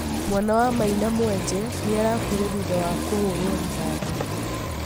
mwana wa maina mwenje nĩarakuire thutha wa kũhũrwo rithathi